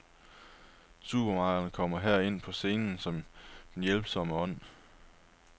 Supermarkederne kommer her ind på scenen som den hjælpsomme ånd.